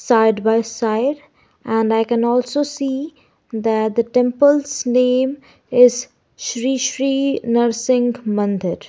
side by side and i can also see that the temples name is shri shri narsingh mandir .